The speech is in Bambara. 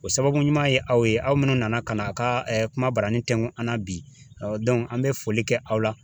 O sababu ɲuman ye aw ye aw munnu nana ka na a ka ɛɛ kuma barani tɛnku an na bi ɔ dɔnku an be foli kɛ aw la